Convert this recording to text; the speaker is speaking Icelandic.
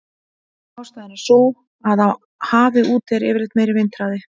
Ástæðan er sú að á hafi úti er yfirleitt meiri vindhraði.